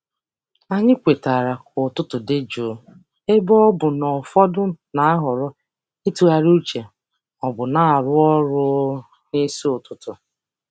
Anyị kwetara ka ụtụtụ dị jụụ ebe ọ bụ na ụfọdụ na-ahọrọ ịtụgharị uche ma ọ bụ na-arụ ọrụ um n'isi ụtụtụ.